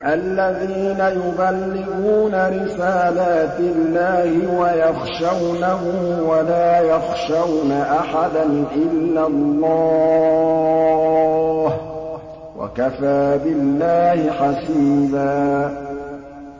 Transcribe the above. الَّذِينَ يُبَلِّغُونَ رِسَالَاتِ اللَّهِ وَيَخْشَوْنَهُ وَلَا يَخْشَوْنَ أَحَدًا إِلَّا اللَّهَ ۗ وَكَفَىٰ بِاللَّهِ حَسِيبًا